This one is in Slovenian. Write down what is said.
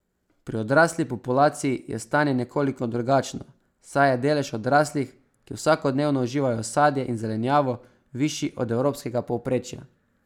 Pri odrasli populaciji je stanje nekoliko drugačno, saj je delež odraslih, ki vsakodnevno uživajo sadje in zelenjavo, višji od evropskega povprečja.